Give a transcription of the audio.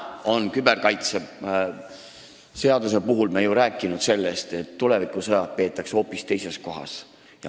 Küberturvalisuse seaduse puhul me ju oleme rääkinud sellest, et tulevikusõjad peetakse hoopis teises kohas.